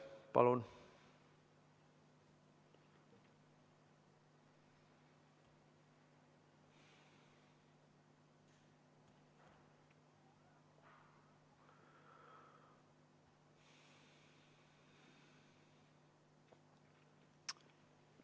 Palun!